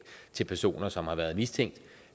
til personer som har været mistænkt